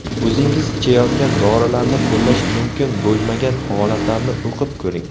O‘zingiz ichayotgan dorilarni qo‘llash mumkin bo‘lmagan holatlarni o‘qib ko‘ring.